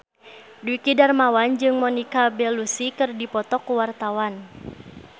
Dwiki Darmawan jeung Monica Belluci keur dipoto ku wartawan